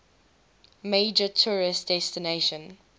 major tourist destination